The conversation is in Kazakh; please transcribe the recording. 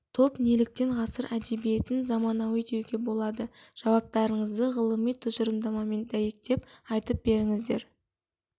топ неліктен ғасыр әдебиетін заманауи деуге болады жауаптарыңызды ғылыми тұжырымдармен дәйектеп айтып беріңіздер